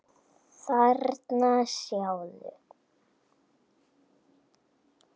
Þarna, sjáðu